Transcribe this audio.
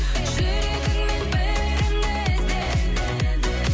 жүрегіңнен бірін ізде